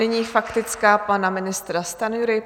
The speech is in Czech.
Nyní faktická pana ministra Stanjury.